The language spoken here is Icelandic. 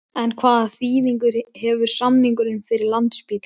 En hvaða þýðingu hefur samningurinn fyrir Landspítalann?